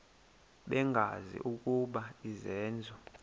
bengazi ukuba izenzo